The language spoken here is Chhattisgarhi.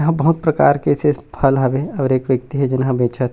यहाँ बहोत प्रकार के एसे एसे फल हवे और एक व्यक्ति हे जेन बेचत हे।